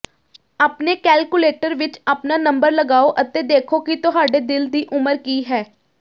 ਆਪਣੇ ਕੈਲਕੁਲੇਟਰ ਵਿਚ ਆਪਣਾ ਨੰਬਰ ਲਗਾਓ ਅਤੇ ਦੇਖੋ ਕਿ ਤੁਹਾਡੇ ਦਿਲ ਦੀ ਉਮਰ ਕੀ ਹੈ